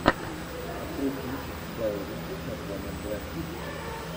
открой кинчик гая ричи с названием грань будущего